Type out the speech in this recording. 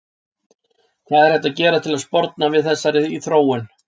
Hvað er hægt að gera til að sporna við þessari þróun?